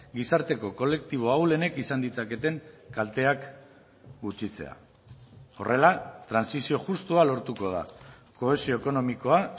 gizarteko kolektibo ahulenek izan ditzaketen kalteak gutxitzea horrela trantsizio justua lortuko da kohesio ekonomikoa